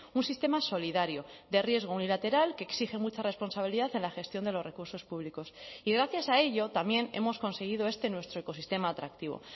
un sistema solidario de riesgo unilateral que exige mucha responsabilidad en la gestión de los recursos públicos y gracias a ello también hemos conseguido este nuestro ecosistema atractivo